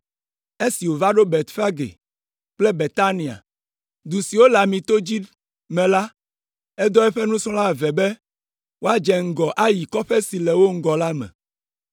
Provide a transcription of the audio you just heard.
Esi wova ɖo Betfage kple Betania, du siwo le Amito dzi me la, edɔ eƒe nusrɔ̃la eve be woadze ŋgɔ ayi kɔƒe si le wo ŋgɔ la me.